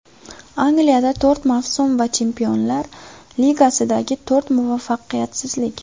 Angliyada to‘rt mavsum va Chempionlar Ligasidagi to‘rt muvaffaqiyatsizlik.